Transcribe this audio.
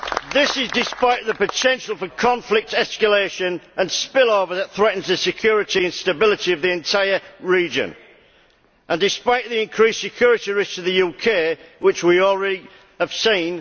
This is despite the potential for conflict escalation and spill over that threatens the security and stability of the entire region and despite the increased security risk to the UK which we already have seen.